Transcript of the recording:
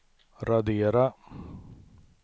radera